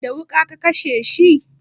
Da wuƙa ka kashe shi?